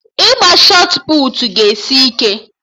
Ịgba shọt puutu ga-esi ike